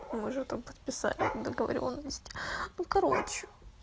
мы уже там подписали вот договорённость ну короче